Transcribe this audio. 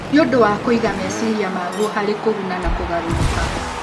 Nĩ ũndũ wa kũiga meciria maguo harĩ kũguna na kũgarũrũka.